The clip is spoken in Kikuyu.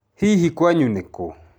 Hihi kwanyu nĩ kũũ?